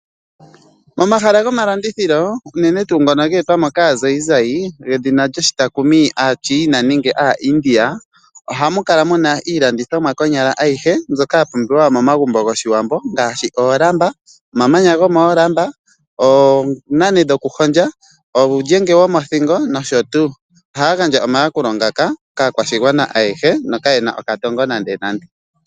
Momahaa gomalandithilo unene tuu ngono ge etwa kaazayizayi, aaChina nenge aaIndia ohamu kala mu na iilandithomwa konyala ayihe mbyoka ya pumbiwa momagumbo goshiwambo ngaashi oolamba, omamanya gomoolamba, oonane dhokuhondja, uulyenge womothingo nosho tuu. Ohaya gandja omayakulo ngaka kaakwashigwana ayehe nokaye na okatongo nando.